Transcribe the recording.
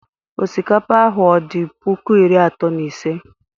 osikapa ahu ọ di puku iri atọ na ise